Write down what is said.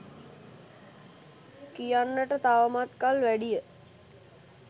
කියන්නට තවමත් කල් වැඩිය